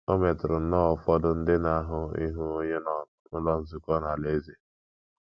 O metụrụ nnọọ ụfọdụ ndị n’ahụ́ ịhụ onye nọn n’Ụlọ Nzukọ Alaeze.